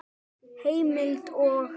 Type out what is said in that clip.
Heimild og